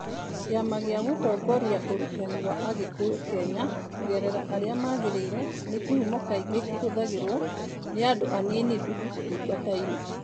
Kĩama gĩa Gũtongoria Ũrutani wa Agĩkũyũ Kenya (NEMIS), kũgerera arĩa magĩrĩire, nĩ kĩhumo kaingĩ kĩhũthagĩrũo nĩ andũ anini tu ũtungata-inĩ.